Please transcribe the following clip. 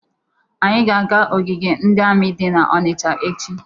Anyị ga-aga ogige ndị amị dị n'Ọnịcha echi.